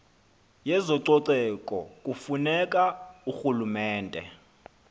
yezococeko kufuneka urhulumente